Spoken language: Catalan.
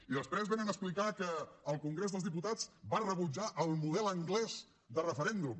i després vénen a explicar que el congrés dels diputats va rebutjar el model anglès de referèndum